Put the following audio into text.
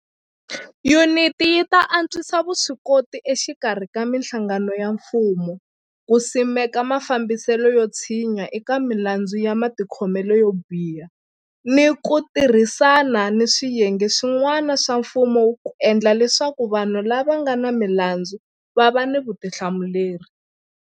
Yuniti yi ta antswisa vuswikoti exikarhi ka mihlangano ya mfumo ku simeka mafambiselo yo tshinya eka milandzu ya matikhomelo yo biha ni ku tirhisana ni swiyenge swi n'wana swa mfumo ku endla leswaku vanhu lava nga ni milandzu va va ni vutihlamuleri.